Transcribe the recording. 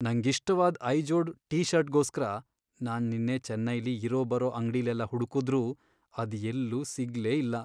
ನಂಗಿಷ್ಟವಾದ್ Izod T ಷರ್ಟ್ಗೋಸ್ಕರ ನಾನ್ ನಿನ್ನೆ ಚೆನ್ನೈಲಿ ಇರೋಬರೋ ಅಂಗ್ಡಿಲೆಲ್ಲ ಹುಡ್ಕುದ್ರೂ ಅದ್ ಎಲ್ಲೂ ಸಿಗ್ಲೇ ಇಲ್ಲ.